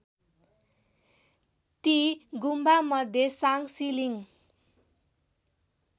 ती गुम्बामध्ये साङसिलिङ